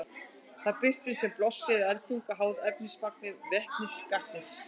Það birtist sem blossi eða eldtunga, háð efnismagni vetnisgassins.